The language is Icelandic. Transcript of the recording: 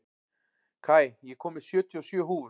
Kai, ég kom með sjötíu og sjö húfur!